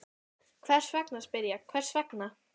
Hvers vegna, spyr ég, hvers vegna?